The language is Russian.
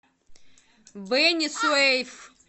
бени суэйф